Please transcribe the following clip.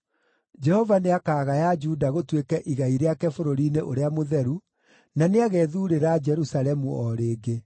Jehova nĩakagaya Juda gũtuĩke igai rĩake bũrũri-inĩ ũrĩa mũtheru, na nĩagethuurĩra Jerusalemu o rĩngĩ.